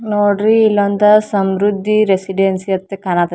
ನೋಡ್ರಿ ಇಲ್ಲೊಂದು ಸಮ್ರುದ್ದಿ ರೆಸಿಡೆನ್ಸಿ ಅಂತ ಕಾಣಕತ್ತಿ --